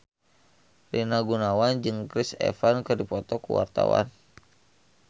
Rina Gunawan jeung Chris Evans keur dipoto ku wartawan